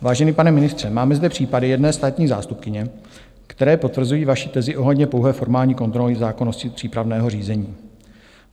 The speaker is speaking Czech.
Vážený pane ministře, máme zde případy jedné státní zástupkyně, které potvrzují vaši tezi ohledně pouhé formální kontroly zákonnosti přípravného řízení.